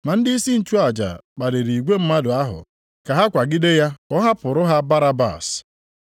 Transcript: Ma ndịisi nchụaja kpaliri igwe mmadụ ahụ ka ha kwagide ya ka ọ hapụrụ ha Barabas.